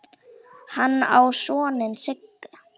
Hann á soninn Sigga.